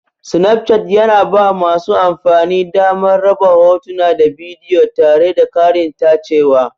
Snapchart yana ba masu amfani damar raba hotuna da bidiyo tare da ƙarin tacewa.